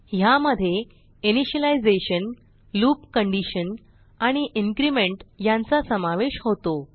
ह्यामध्ये initialisation loop condition आणि increment यांचा समावेश होतो